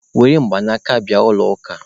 Were mgbaaka bịa n'ụlọ ụka!